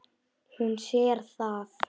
Hún sér það.